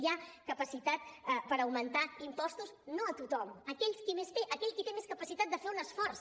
hi ha capacitat per augmentar impostos no a tothom a aquells qui més tenen a aquell qui té més capacitat de fer un esforç